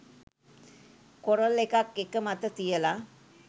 coral එකක් එක මත තියල